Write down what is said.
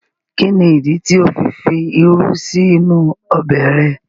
Kí ní ìdí tí ó fi fi irú sí inú ọbẹ̀ rẹ̀?